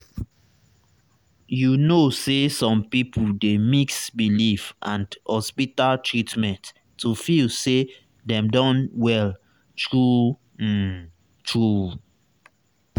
you know some people dey mix belief and hospital treatment to feel say dem don well true um true.